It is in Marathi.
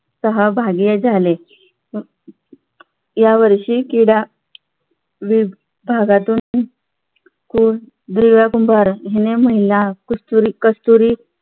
सहभागी झाले यावर्षी क्रीडा वि भागातून तून दिव्य कुंभार याने कस्तुरी कस्तुरी